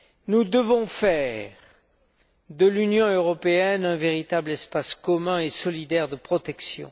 Nous devons faire de l'Union européenne un véritable espace commun et solidaire de protection.